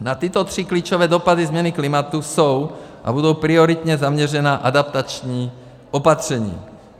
Na tyto tři klíčové dopady změny klimatu jsou a budou prioritně zaměřena adaptační opatření.